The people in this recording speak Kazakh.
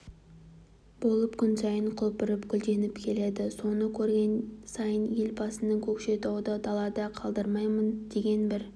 болып күн сайын құлпырып гүлденіп келеді соны көрген сайын елбасының көкшетауды далада қалдырмаймын деген бір